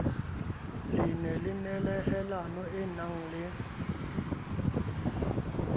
le nehelano e nang le